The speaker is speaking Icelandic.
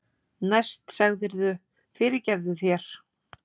Næst sagðirðu: Fyrirgefðu þér